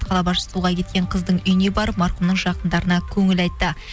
қала басшысы суға кеткен қыздың үйіне барып марқұмның жақындарына көңіл айтты